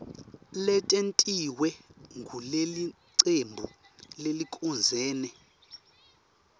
letentiwe ngulelicembu lelicondzene